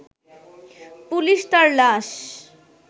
police তার লাশ